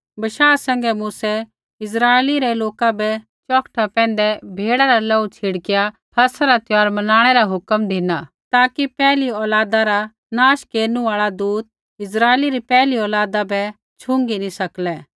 बशाह सैंघै मूसै इस्राइली रै लोका बै चौखटा पैंधै भेड़ा रा लोहू छिड़किया फसह रा त्यौहार मनाणै रा हुक्म धिना ताकि पैहली औलादा रा नाश केरनु आल़ा दूत इस्राइली री पैहली औलादा बै छुई नैंई सकलै